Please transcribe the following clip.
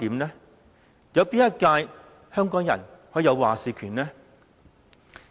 哪一屆香港人可以有話事權呢？